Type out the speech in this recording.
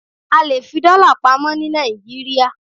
A lè fi dọ́là pamọ́ ní Nàìjíríà.